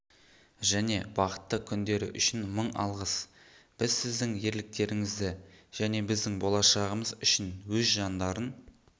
және бақытты күндері үшін мың алғыс біз сіздің ерліктеріңізді және біздің болашағымыз үшін өз жандарын